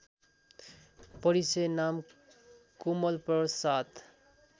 परिचय नाम कोमलप्रसाद